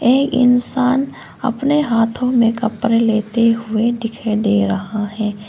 एक इंसान अपने हाथों में कपड़े लेते हुए दिखाई दे रहा है।